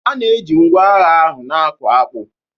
A na-eji ngwa agha a na-akụ akpu